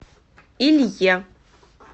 илье